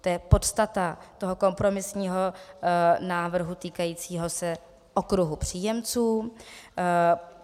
To je podstata toho kompromisního návrhu týkajícího se okruhu příjemců.